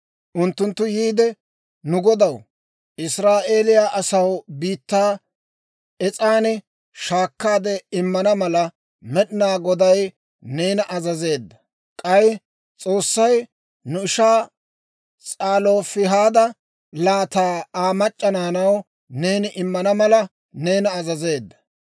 Unttunttu yiide, «Nu godaw, Israa'eeliyaa asaw biittaa es's'an shaakkaade immana mala, Med'inaa Goday neena azazeedda; k'ay S'oossay nu ishaa S'alofihaada laataa Aa mac'c'a naanaw neeni immana mala, neena azazeedda.